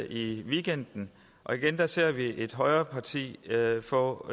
i weekenden og igen ser vi et højreparti få